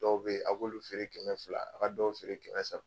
Dɔw be yen, a b'olu feere kɛmɛ fila, a ka dɔw feere kɛmɛ saba